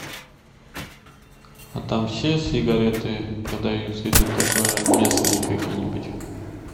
а там все сигареты продаются или только местные какие нибудь